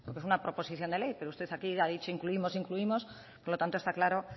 porque es una proposición de ley pero usted aquí ha dicho incluimos incluimos por lo tanto está claro